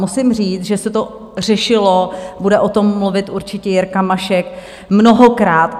Musím říct, že se to řešilo, bude o tom mluvit určitě Jirka Mašek, mnohokrát.